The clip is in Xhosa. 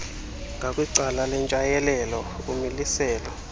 ngakwicala lentshayelelo umiliselo